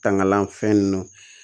Tangalanfɛn nunnu